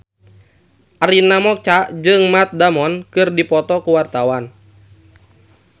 Arina Mocca jeung Matt Damon keur dipoto ku wartawan